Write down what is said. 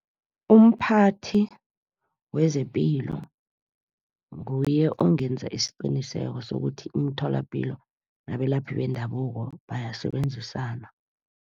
Umphathi wezepilo, nguye ongenza isiqiniseko sokuthi imitholapilo nabelaphi bendabuko bayasebenzisana.